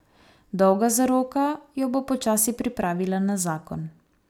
Dolga zaroka jo bo počasi pripravila na zakon.